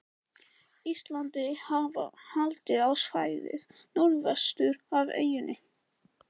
Íslandi, hafa haldið á svæðið norðvestur af eyjunni.